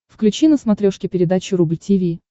включи на смотрешке передачу рубль ти ви